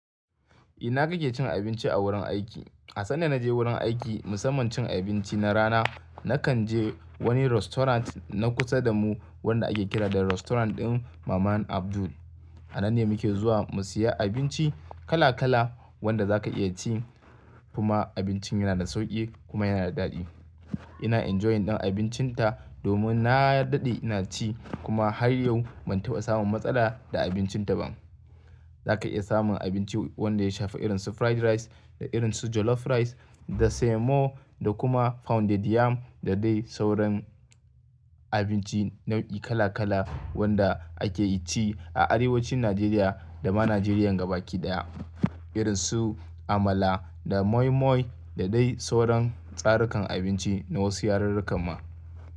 Ina kake cin abinci a wurin aiki. A sanda na je wurin aiki musamman cin abinci na rana, nakan je wani restaurant na kusa da mu wanda ake kira da restaurant ɗin maman Abdul. A nan ne muke zuwa mu siya abinci kala-kala wanda zaka iya ci, kuma abincin yana da sauƙi kuma yana da daɗi. Ina enjoying ɗin abincin ta domin na daɗe ina ci kuma har yau ban taɓa samun matsala da abincin ta ba. Zaka iya samun abinci wanda ya shafa irin su fried rice, da irin su jollof rice, da semo, da kuma pounded yam da dai sauran abinci nau'i kala-kala wanda ake ci a arewacin Najeriya da ma Najeriya gaba kiɗaya. Irin su amala, da moi moi da dai sauran tsarukan abinci na wasu yarurruka ma.